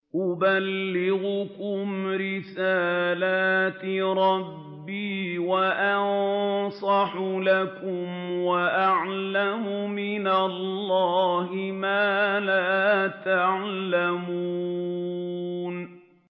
أُبَلِّغُكُمْ رِسَالَاتِ رَبِّي وَأَنصَحُ لَكُمْ وَأَعْلَمُ مِنَ اللَّهِ مَا لَا تَعْلَمُونَ